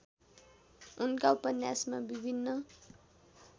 उनका उपन्यासमा विभिन्न